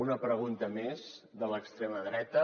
una pregunta més de l’extrema dreta